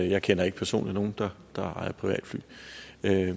jeg kender ikke personligt nogle der der ejer et privatfly